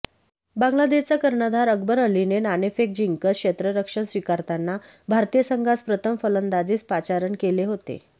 बांगलादेशचा कर्णधार अकबर अलीने नाणेफेक जिंकत क्षेत्ररक्षण स्विकारताना भारतीय संघास प्रथम फलंदाजीस पाचारण केलं होते